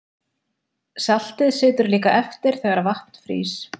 Saltið situr líka eftir þegar vatn frýs.